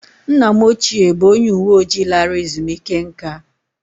Nna m ochie bụ onye uwe ojii lara ezumike nká